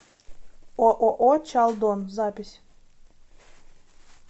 ооо чалдон запись